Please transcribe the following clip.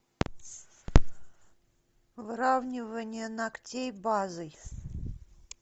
выравнивание ногтей базой